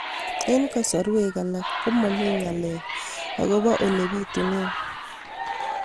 Eng' kasarwek alak ko mami ng'alek akopo ole pitunee